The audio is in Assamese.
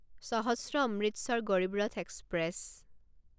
সহস্ৰ অমৃতসৰ গৰিব ৰথ এক্সপ্ৰেছ